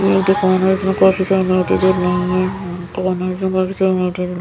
ये एक दुकाने हैं इसमें काफी सारे लाइटे जल रही हैं ।